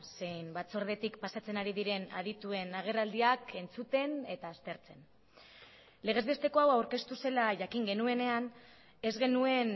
zein batzordetik pasatzen ari diren adituen agerraldiak entzuten eta aztertzen legezbesteko hau aurkeztu zela jakin genuenean ez genuen